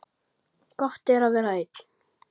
Gott er að vera einn.